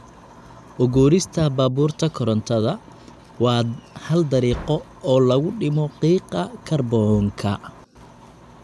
U guurista baabuurta korontada waa hal dariiqo oo lagu dhimo qiiqa kaarboonka.